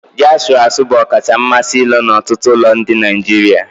Ji asuru-asu bụ ọkacha mmasị ilo n'ọtụtụ ụlọ ndị Nigeria.